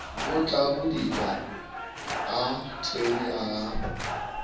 o tlabidika a thwene a